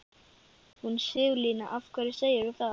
Hún Sigurlína, af hverju segirðu það?